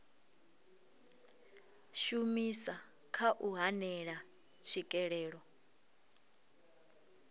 shumisa kha u hanela tswikelelo